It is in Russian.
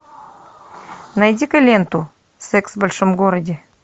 найди ка ленту секс в большом городе